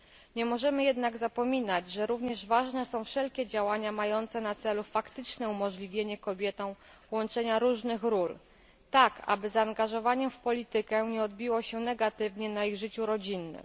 Nie możemy jednak zapominać, że również ważne są wszelkie działania mające na celu faktyczne umożliwienie kobietom łączenia różnych ról, tak aby zaangażowanie w politykę nie odbiło się negatywnie na ich życiu rodzinnym.